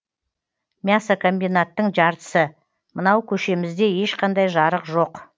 мясо комбинаттың жартысы мынау көшемізде ешқандай жарық жоқ